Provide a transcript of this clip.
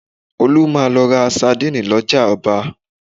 Olú máa lọ ra sandíìnì lọ́jà ọba